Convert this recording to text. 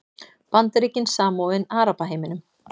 Bandaríkin samofin Arabaheiminum